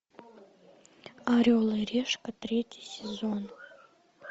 орел и решка третий сезон